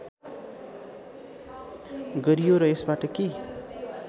गरियो र यसबाट के